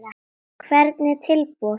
Hvernig tilboð?